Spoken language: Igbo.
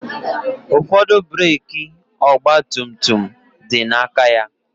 Ụfọdụ breeki ọgba tum tum dị na aka ya